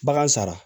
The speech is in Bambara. Bagan sara